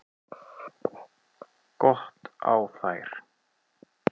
Gott á þær!